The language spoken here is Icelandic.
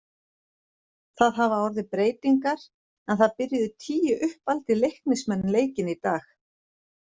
Það hafa orðið breytingar en það byrjuðu tíu uppaldir Leiknismenn leikinn í dag.